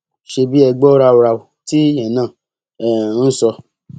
ṣebí ẹ gbọ ráúráú tíyẹn náà um ń sọ